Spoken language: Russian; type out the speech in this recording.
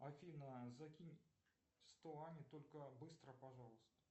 афина закинь сто ане только быстро пожалуйста